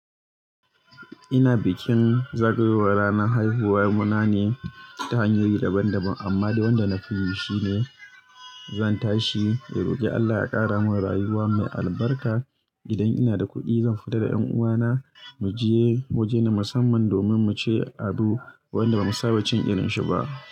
Ina bikin zagayowar ranar haihuwa na ne ta hanyoyi daban daban amma wanda na fi yi shine zan tashi in roki Allah ya kara mun rayuwa mai albarka. Idan ina da kuɗi zan fita da ƴanuwana muje waje na musamman domin muci abu wanda bamu saba cin irin shi ba.